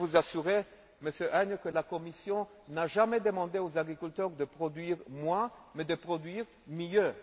Je peux vous assurer, Monsieur Agnew, que la Commission n'a jamais demandé aux agriculteurs de produire moins, mais de produire mieux.